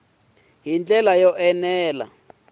hi ndlela yo enela ku